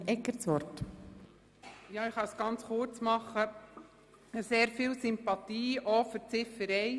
Ich habe auch grosse Sympathien für die Ziffer 1.